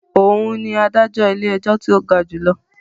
Òún ní adájọ ilé-ẹjọ tí o ga jùlọ